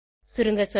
சுருங்க சொல்ல